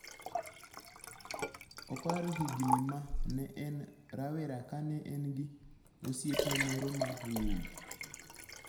Oparo higini ma ne en rawera kane en gi osiepne moro ma wuowi.